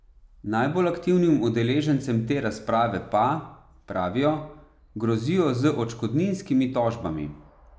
Najbolj aktivnim udeležencem te razprave pa, pravijo, grozijo z odškodninskimi tožbami.